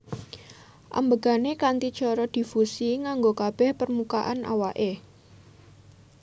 Ambegané kanthi cara difusi nganggo kabeh permukaan awake